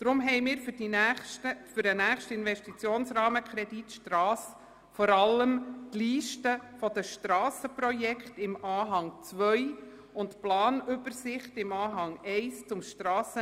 Deshalb haben wir für den nächsten Investitionsrahmenkredit Strasse vor allem die Liste der Strassenprojekte in Anhang 2 sowie die Planübersicht zum Stras informieren wollen.